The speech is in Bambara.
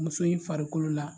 Muso in farikolo la